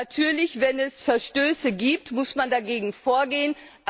Natürlich, wenn es Verstöße gibt, muss man dagegen vorgehen.